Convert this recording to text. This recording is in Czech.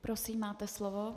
Prosím, máte slovo.